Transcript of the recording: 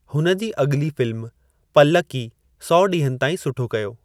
हुन जी अॻिली फ़िल्म पल्लक्की 100 ॾींहनि ताईं सुठो कयो।